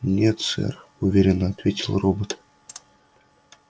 нет сэр уверенно ответил робот